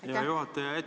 Aitäh, hea juhataja!